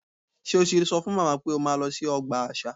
Ṣé o ti sọ fún màmá pé o máa lọ sí ọgbà àṣà?